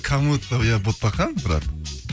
кому то я ботақан бірақ